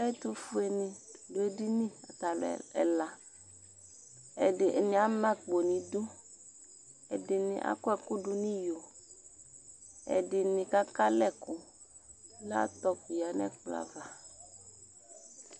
Ɛtʋfuenɩ dʋ edini ata alʋ ɛla Atanɩ ama akpo nʋ idu Ɛdɩnɩ akɔ ɛkʋ dʋ nʋ iyo Ɛdɩnɩ kaka alɛ ɛkʋ Laptɔp yǝ nʋ ɛkplɔ ava